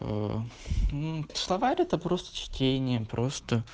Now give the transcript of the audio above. словарь это просто чтение просто